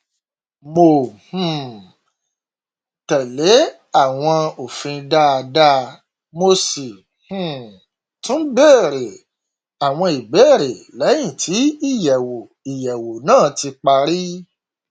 mo um tẹlé àwọn òfin dáadáa mo sì um tún bèrè àwọn ìbéèrè lẹyìn tí ìyẹwò ìyẹwò náà ti parí